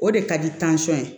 O de ka di ye